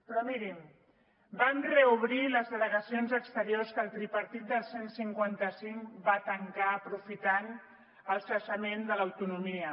però mirin vam reobrir les delegacions exteriors que el tripartit del cent i cinquanta cinc va tancar aprofitant el cessament de l’autonomia